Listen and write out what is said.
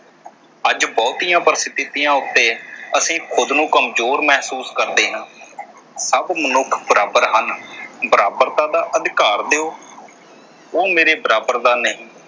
ਅੱਜ ਬਹੁਤੀਆਂ ਪਰਿਸਥਿਤੀਆਂ ਉਤੇ ਅਸੀਂ ਖੁਦ ਨੂੰ ਕਮਜ਼ੋਰ ਮਹਿਸੂਸ ਕਰਦੇ ਹਾਂ। ਸਭ ਮਨੁੱਖ ਬਰਾਬਰ ਹਨ । ਬਰਾਬਰਤਾ ਦਾ ਅਧਿਕਾਰ ਦਿਓ। ਉਹ ਮੇਰੇ ਬਰਾਬਰ ਦਾ ਨਹੀਂ